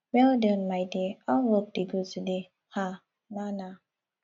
well done my dear how work dey go today um na na